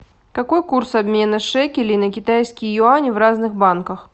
какой курс обмена шекелей на китайские юани в разных банках